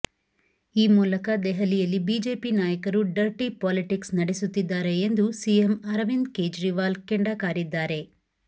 ಈ ಮೂಲಕ ದೆಹಲಿಯಲ್ಲಿ ಬಿಜೆಪಿ ನಾಯಕರು ಡರ್ಟಿ ಪಾಲಿಟಿಕ್ಸ್ ನಡೆಸುತ್ತಿದ್ದಾರೆ ಎಂದು ಸಿಎಂ ಅರವಿಂದ್ ಕೇಜ್ರಿವಾಲ್ ಕೆಂಡ ಕಾರಿದ್ದಾರೆ